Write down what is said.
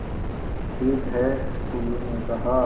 ठीक है टुल्लु ने कहा